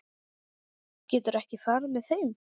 Geturðu ekki farið með þeim?